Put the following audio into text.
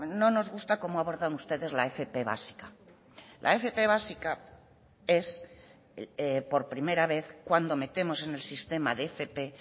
no nos gusta cómo abordan ustedes la fp básica la fp básica es por primera vez cuando metemos en el sistema de fp